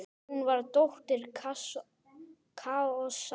Hún var dóttir Kaosar.